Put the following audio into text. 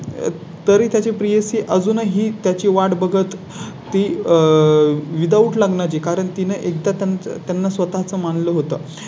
तरी त्या ची प्रियसी अजूनही त्या ची वाट बघत ती आह without लग्ना चे कारण तिने एकदा त्यांचा त्यांना स्वतः चं मान लं होतं.